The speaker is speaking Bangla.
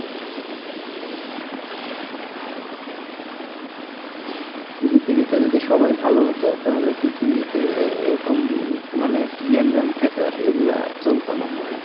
পৃথিবীতে যদি সবাই ভালো হতো তাহলে পৃথিবীতে এরকম মানে গেঞ্জাম ফ্যাসাদ এইগুলা চলতো না হ্যাঁ।